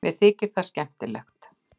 Mér þykir það skemmtilegt.